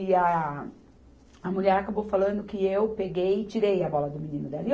E a, a mulher acabou falando que eu peguei e tirei a bola do menino dela.